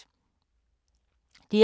DR K